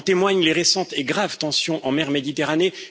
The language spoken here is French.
En témoignent les récentes et graves tensions en mer Méditerranée.